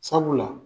Sabula